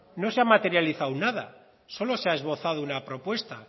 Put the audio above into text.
no se ha materializado nada solo se ha esbozado una propuesta